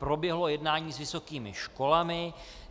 Proběhlo jednání s vysokými školami.